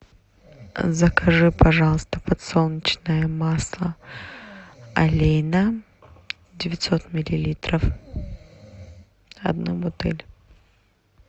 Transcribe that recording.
закажи пожалуйста подсолнечное масло олейна девятьсот миллилитров одну бутыль